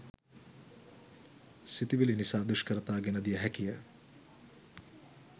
සිතුවිලි නිසා දුෂ්කරතා ගෙන දිය හැකිය.